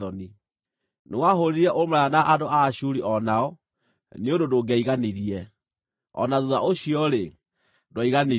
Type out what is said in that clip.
Nĩwahũũrire ũmaraya na andũ a Ashuri o nao, nĩ ũndũ ndũngĩaiganirie; o na thuutha ũcio-rĩ, ndwaiganirie.